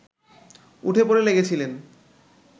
উঠে পড়ে লেগেছিলেন